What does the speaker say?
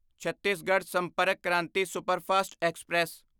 Chhattisgarh Sampark Kranti superfast express